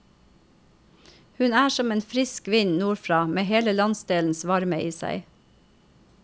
Hun er som en frisk vind nordfra med hele landsdelens varme i seg.